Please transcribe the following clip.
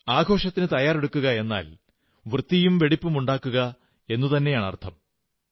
ആഘോഷത്തിനു തയ്യാറെടുക്കുകയെന്നാൽ വൃത്തിയും വെടിപ്പും ഉണ്ടാക്കുക എന്നുതന്നെയാണർഥം